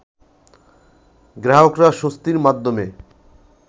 গ্রাহকরা স্বস্তির মাধ্যমে